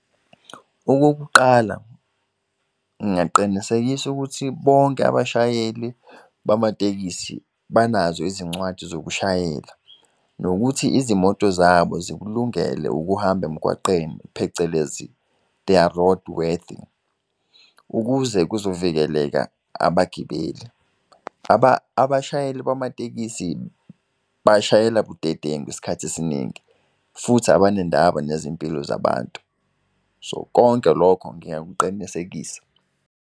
Okokuqala ngingaqinisekisa ukuthi bonke abashayeli bamatekisi banazo izincwadi zokushayela. Nokuthi izimoto zabo zikulungele ukuhamba emgwaqeni phecelezi they are road worthy ukuze kuzovikela abagibeli. Abashayeli bamatekisi bashayela budedengu isikhathi esiningi futhi abanendaba nezimpilo zabantu. So konke lokho ngiyakuqinisekisa.